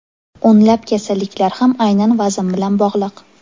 O‘nlab kasalliklar ham aynan vazn bilan bog‘liq.